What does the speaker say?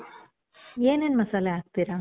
ಏನೇನ್ ಮಸಾಲೆ ಹಾಕ್ತೀರ?